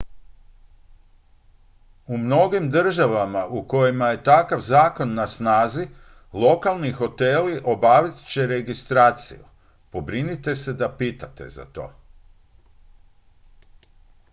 u mnogim državama u kojima je takav zakon na snazi lokalni hoteli obavit će registraciju pobrinite se da pitate za to